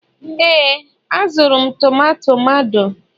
ee, azụrụ m tomato mado